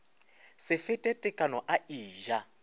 se fete tekano a eja